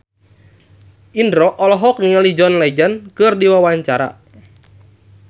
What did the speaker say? Indro olohok ningali John Legend keur diwawancara